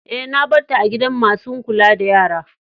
Eh, na bar ta a gidan masun kulla da yara.